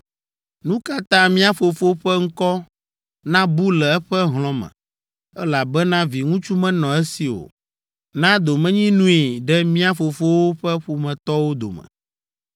Nu ka ta mía fofo ƒe ŋkɔ nabu le eƒe hlɔ̃ me, elabena viŋutsu menɔ esi o? Na domenyinui ɖe mía fofowo ƒe ƒometɔwo dome.”